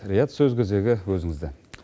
риат сөз кезегі өзіңізде